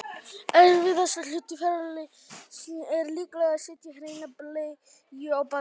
erfiðasti hluti ferlisins er líklega að setja hreina bleiu á barnið